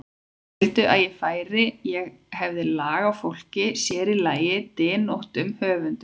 Þeir vildu að ég færi, ég hefði lag á fólki, sér í lagi dyntóttum höfundum.